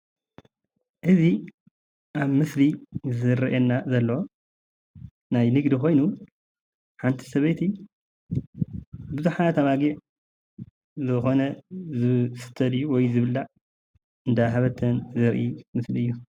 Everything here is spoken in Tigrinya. እዚ ኣብ ምስሊ ዝረአየና ዘሎ ናይ ንግዲ ኮይኑ ሓንቲ ሰበይቲ ቡዙሓት ኣባጊዕ ዝኮነ ዝስተ ድዩ ወይ ዝብላዕ እንዳ ሃበተን ዘርኢ ምስሊ እዩ፡፡